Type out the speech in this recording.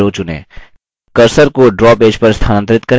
cursor को draw page पर स्थनांतरित करें